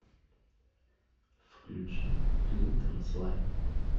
включи клинтон слай